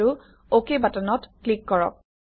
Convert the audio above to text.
আৰু অক বাটনত ক্লিক কৰক